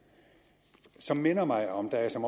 det som minder mig om da jeg som